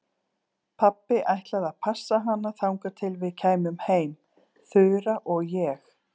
Pabbi ætlaði að passa hana þangað til við kæmum heim, Þura og ég.